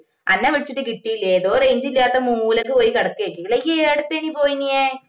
അന്ന വിളിച്ചിട്ട് കിട്ടില്ല ഏതോ range ഇല്ലാത്ത മൂലക്ക് പോയി കിടക്കുവാരിക്കു ല്ലാ ഇയ് എടുത്തേക് ഈ പോയിനിയെ